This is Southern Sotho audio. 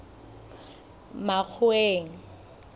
makgoweng